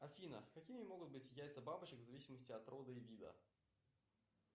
афина какими могут быть яйца бабочек в зависимости от рода и вида